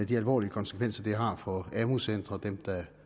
de alvorlige konsekvenser som det har for amu centre og for dem der